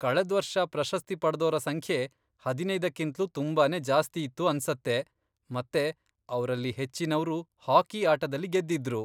ಕಳೆದ್ವರ್ಷ ಪ್ರಶಸ್ತಿ ಪಡ್ದೋರ ಸಂಖ್ಯೆ ಹದಿನೈದಕ್ಕಿಂತ್ಲೂ ತುಂಬಾನೇ ಜಾಸ್ತಿ ಇತ್ತು ಅನ್ಸತ್ತೆ ಮತ್ತೆ ಅವ್ರಲ್ಲಿ ಹೆಚ್ಚಿನವ್ರು ಹಾಕಿ ಆಟದಲ್ಲಿ ಗೆದ್ದಿದ್ರು.